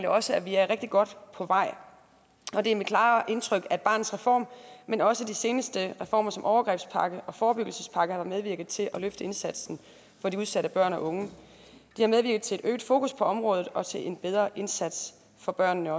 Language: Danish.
også at vi er rigtig godt på vej det er mit klare indtryk at barnets reform men også de seneste reformer som overgrebspakken og forebyggelsespakken har medvirket til at løfte indsatsen for de udsatte børn og unge de har medvirket til øget fokus på området og til en bedre indsats for børnene